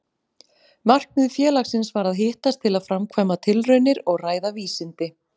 Markmið félagsins var að hittast til að framkvæma tilraunir og ræða vísindi.